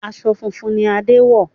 Aṣọ funfun ni Adé wọ̀